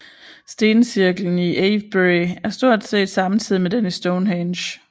Stencirklen i Avebury er stort set samtidig med den i Stonehenge